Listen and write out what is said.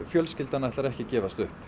fjölskyldan ætlar ekki að gefast upp